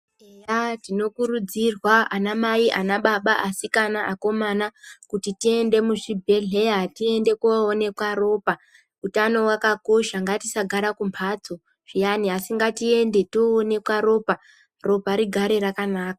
Eya tinokurudzirwa anamai, anababa, asikana, akomana, kuti tiende muzvibhedhleya ,tiende koonekwa ropa. Utano wakakosha. Ngatisagara kumphatso zviyani, asi ngatiende ,toonekwa ropa, ropa rigare rakanaka.